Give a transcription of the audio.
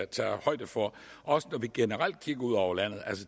tage højde for også når vi generelt kigger ud over landet